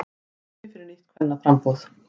Tími fyrir nýtt kvennaframboð